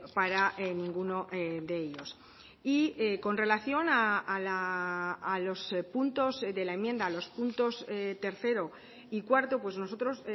para ninguno de ellos y con relación a los puntos de la enmienda a los puntos tercero y cuarto pues nosotros